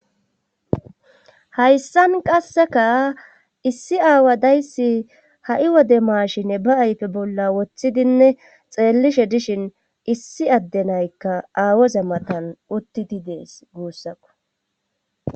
Hayssan qasseka issi aawa dayssi ha'i wode maashine ba ayfe bolla woththidinne xeellishe dishin issi addenaykka aawoza matan uttidi dees guussaku.